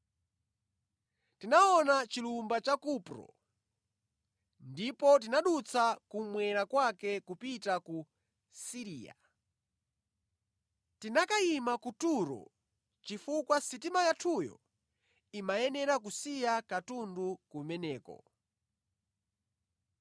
Tinaona chilumba cha Kupro ndipo tinadutsa kummwera kwake nʼkupita ku Siriya. Tinakayima ku Turo chifukwa sitima yathuyo imayenera kusiya katundu kumeneko.